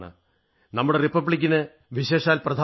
നമ്മുടെ റിപ്പബ്ലിക്കിന് വിശേഷാൽ പ്രധാനമാണ്